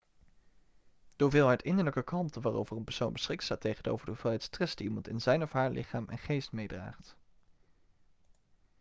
de hoeveelheid innerlijke kalmte waarover een persoon beschikt staat tegenover de hoeveelheid stress die iemand in zijn of haar lichaam en geest meedraagt